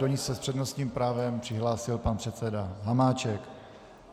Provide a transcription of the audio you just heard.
Do ní se s přednostním právem přihlásil pan předseda Hamáček.